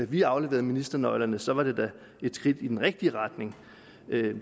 vi afleverede ministernøglerne så var det da et skridt i den rigtige retning